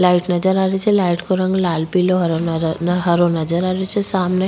light नजर आ रही छे लाइट को रंग लाल पीला हरो नजर आ रो छे सामने --